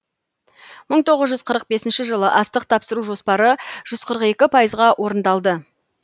мың тоғыз жүз қырық бесінші жылы астық тапсыру жоспары жүз қырық екі пайызға орындалды